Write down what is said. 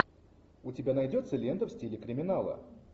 у тебя найдется лента в стиле криминала